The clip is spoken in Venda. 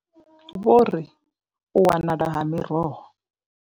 Vho ri u wanala ha miroho.